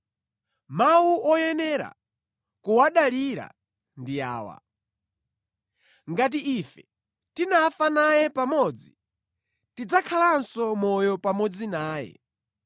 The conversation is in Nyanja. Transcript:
Mawu oyenera kuwadalira ndi awa: Ngati ife tinafa naye pamodzi, tidzakhalanso moyo pamodzi naye.